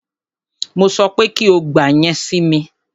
Mo sọ pé kí o gba yẹn si mi!